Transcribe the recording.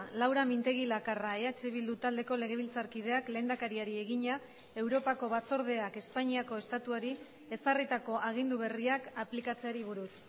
laura mintegi lakarra eh bildu taldeko legebiltzarkideak lehendakariari egina europako batzordeak espainiako estatuari ezarritako agindu berriak aplikatzeari buruz